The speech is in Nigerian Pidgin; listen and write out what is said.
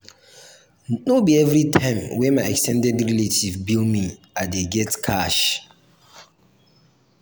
no be everytime wey my ex ten ded relatives bill me i dey get cash.